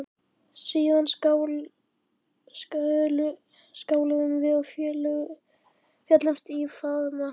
Síðan skáluðum við og féllumst í faðma.